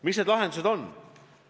Mis need lahendused on?